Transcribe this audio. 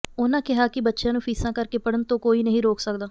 ਉਨ੍ਹਾਂ ਕਿਹਾ ਕਿ ਬੱਚਿਆਂ ਨੂੰ ਫੀਸਾਂ ਕਰਕੇ ਪੜ੍ਹਨ ਤੋਂ ਕੋਈ ਨਹੀਂ ਰੋਕ ਸਕਦਾ